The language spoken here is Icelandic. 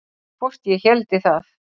Hvort ég héldi það?